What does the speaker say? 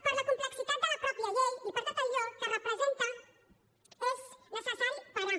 per la complexitat de la mateixa llei i per tot allò que representa és necessari parar